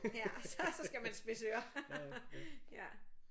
Ja så så skal man spidse ører ja